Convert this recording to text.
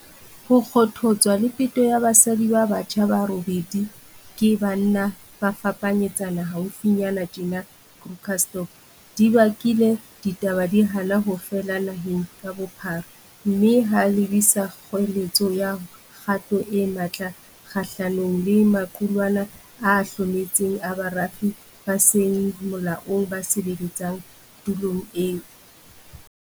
Ho kgothotswa le peto ya basadi ba batjha ba robedi ke banna ba fapanyetsana haufinyana tjena Krugersdorp di bakile ditaba di hana ho fela naheng ka bophara mme ha lebisa kgoeletsong ya kgato e matla kgahlanong le maqulwana a hlometseng a barafi ba seng molaong ba sebeletsang tulong eo.